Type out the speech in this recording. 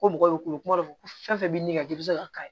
Ko mɔgɔw bɛ kule kuma dɔ la ko fɛn fɛn bɛ min ka ji bɛ se ka kari